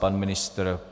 Pan ministr?